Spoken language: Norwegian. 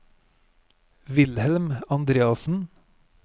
Wilhelm Andreassen